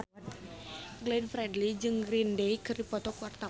Glenn Fredly jeung Green Day keur dipoto ku wartawan